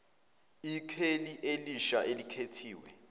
ikheli elisha elikhethiwe